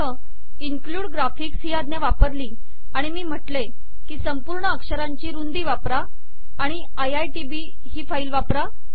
उदाहरणार्थ include graphics ही आज्ञा वापरली आणि मी म्हटले की संपूर्ण अक्षरांची रुंदी वापरा आणि आय आय टी बी ही फाईल वापरा